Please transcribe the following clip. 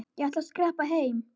Ég ætla að skreppa heim.